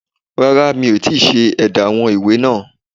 Rárá mi ò tíì ṣe édá àwọn ìwé náà